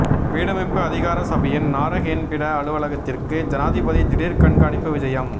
வீடமைப்பு அதிகார சபையின் நாரஹேன்பிட அலுவலகத்திற்கு ஜனாதிபதி திடீர் கண்காணிப்பு விஜயம்